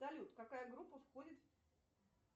салют какая группа входит